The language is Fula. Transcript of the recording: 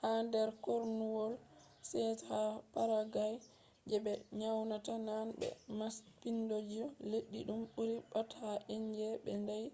ha der kornuwol 16th ha paraguay je be nyonata nane be maapiindijo leddi dum buri pat ha indies” be ndaayi